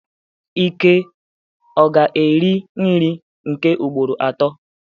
Ike ga-eri nri nke ugboro atọ?